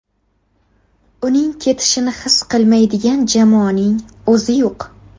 Uning ketishini his qilmaydigan jamoaning o‘zi yo‘q.